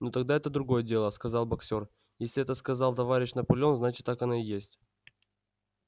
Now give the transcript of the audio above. ну тогда это другое дело сказал боксёр если это сказал товарищ наполеон значит так оно и есть